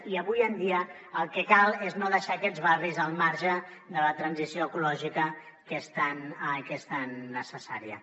i avui en dia el que cal és no deixar aquests barris al marge de la transició ecològica que és tan necessària